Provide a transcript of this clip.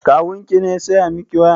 Kawun ki ne ya saya miki waya?